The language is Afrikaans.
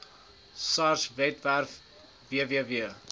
sars webwerf www